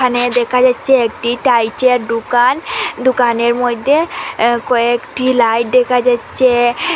এখানে দেখা যাচ্ছে যে একটি টাইচের দুকান দুকানের মধ্যে কয়েকটি লাইট দেখা যাচ্ছে।